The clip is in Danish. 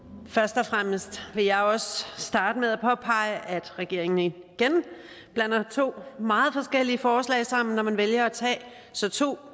først og fremmest vil jeg også starte med at påpege at regeringen igen blander to meget forskellige forslag sammen når man vælger at tage to